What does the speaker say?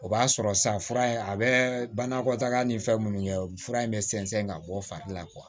O b'a sɔrɔ san fura in a bɛ banakɔtaga ni fɛn minnu kɛ o fura in bɛ sɛnsɛn ka bɔ fari la